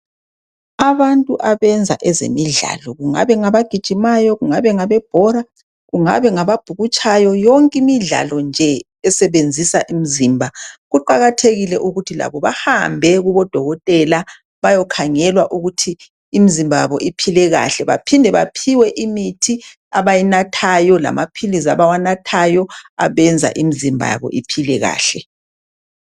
Abantu abenza ezemidlalo, kungabe ngabagijimayo kungabe ngabebhora kungabe ngababhukutshayo, yonke imidlalo nje esebenzisa imizimba kuqakathekile ukuthi labo bahambe kubodokotela bayokhangelwa ukuthi imizimba yabo iphile kahle baphinde baphiwe imithi abayinathayo lamaphilizi abawanathayo abenza imizimba yabo iphile kahle.